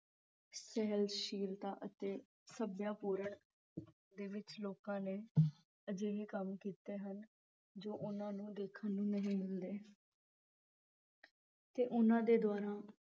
ਸਹਿਣਸ਼ੀਲਤਾ ਤੇ ਸਭਿਆਪੂਰਣ ਦੇ ਵਿਚ ਲੋਕਾਂ ਨੇ ਅਜਿਹੇ ਕੰਮ ਕੀਤੇ ਹਨ ਜੋ ਉਨ੍ਹਾਂ ਨੂੰ ਦੇਖਣ ਨੂੰ ਨਹੀਂ ਮਿਲਦੇ ਤੇ ਉਨ੍ਹਾਂ ਦੇ ਦੁਆਰਾ